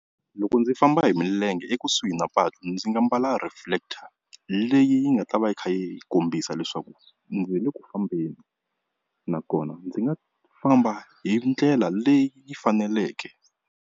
Loko ndzi famba hi milenge ekusuhi na patu ndzi nga mbala reflector leyi nga ta va yi kha yi kombisa leswaku ndzi le ku fambeni, nakona ndzi nga famba hi ndlela leyi faneleke.